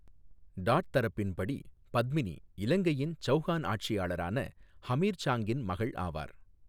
Dot தரப்பின்படி, பத்மினி இலங்கையின் சவுகான் ஆட்சியாளரான ஹமீர் சாங்கின் மகள் ஆவார்.